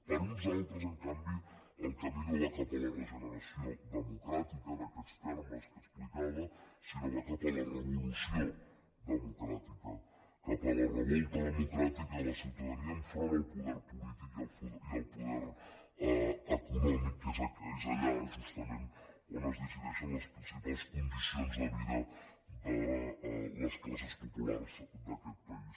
per uns altres en canvi el camí no va cap a la regeneració democràtica en aquests termes que explicava sinó que va cap a la revolució democràtica cap a la revolta democràtica de la ciutadania enfront del poder polític i el poder econòmic que és allà justament on es decideixen les principals condicions de vida de les classes populars d’aquest país